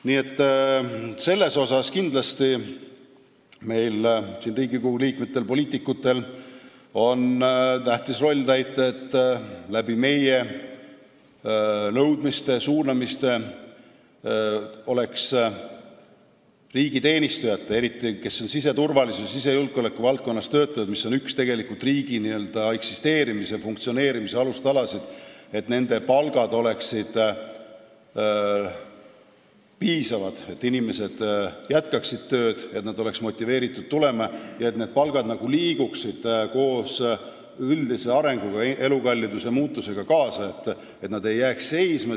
Nii et siin on kindlasti meil, Riigikogu liikmetel, poliitikutel, tähtis roll täita, et meie nõudmiste ja suunamiste abil oleks riigiteenistujatel, eriti neil, kes siseturvalisuse, sisejulgeoleku valdkonnas töötavad, mis on tegelikult üks riigi eksisteerimise, funktsioneerimise alustalasid, piisavad palgad, et inimesed jätkaksid tööd, et inimesed oleks motiveeritud sinna tööle minema ja et palgad liiguksid üldise arenguga, elukalliduse muutusega kaasa, mitte ei jääks seisma.